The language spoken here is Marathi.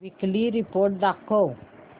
वीकली रिपोर्ट दाखव